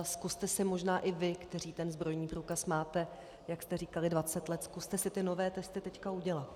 A zkuste si možná i vy, kteří ten zbrojní průkaz máte, jak jste říkali 20 let, zkuste si ty nové testy teď udělat.